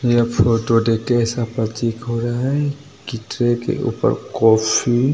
यह फोटो देख के ऐसा प्रतीत हो रहा है की ट्रे के ऊपर कॉफ़ी --